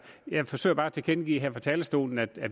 jeg forsøger bare at tilkendegive her fra talerstolen at